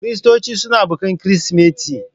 Kiristoci suna bikin Kirsimeti.